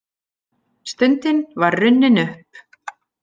Stundin var runnin upp!